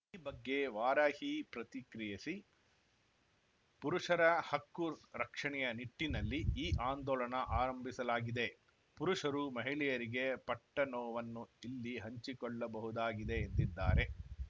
ಈ ಬಗ್ಗೆ ವಾರಾಹಿ ಪ್ರತಿಕ್ರಿಯಿಸಿ ಪುರುಷರ ಹಕ್ಕು ರಕ್ಷಣೆಯ ನಿಟ್ಟಿನಲ್ಲಿ ಈ ಆಂದೋಲನ ಆರಂಭಿಸಲಾಗಿದೆ ಪುರುಷರು ಮಹಿಳೆಯರಿಗೆ ಪಟ್ಟನೋವನ್ನು ಇಲ್ಲಿ ಹಂಚಿಕೊಳ್ಳಬಹುದಾಗಿದೆ ಎಂದಿದ್ದಾರೆ